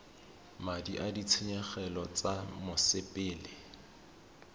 madi a ditshenyegelo tsa mosepele